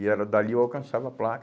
E era dali, eu alcançava a placa.